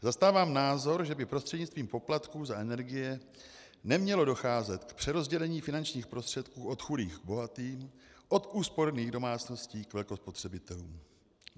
Zastávám názor, že by prostřednictvím poplatků za energie nemělo docházet k přerozdělení finančních prostředků od chudých k bohatým, od úsporných domácností k velkospotřebitelům.